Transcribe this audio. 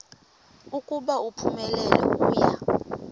ukuba uphumelele uya